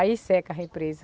Aí seca a represa.